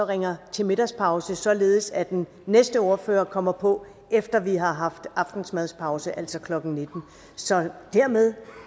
ringer til middagspause således at den næste ordfører kommer på efter vi har haft aftensmadspause altså klokken nitten så dermed